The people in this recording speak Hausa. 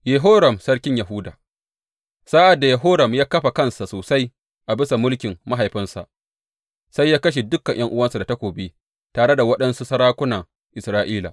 Yehoram sarkin Yahuda Sa’ad da Yehoram ya kafa kansa sosai a bisa mulkin mahaifinsa, sai ya kashe dukan ’yan’uwansa da takobi tare da waɗansu sarakunan Isra’ila.